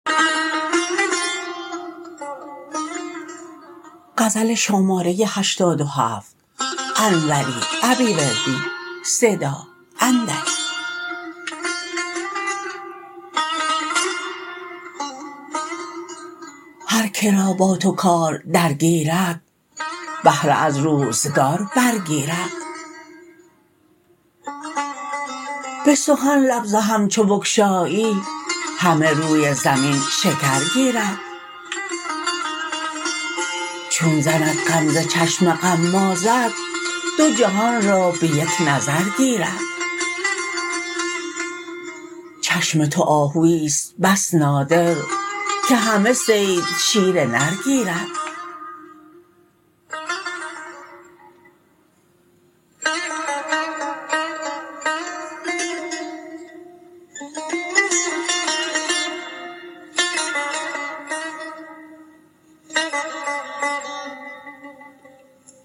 هر کرا با تو کار درگیرد بهره از روزگار برگیرد به سخن لب ز هم چو بگشایی همه روی زمین شکر گیرد چون زند غمزه چشم غمازت دو جهان را به یک نظر گیرد چشم تو آهویی است بس نادر که همه صید شیر نر گیرد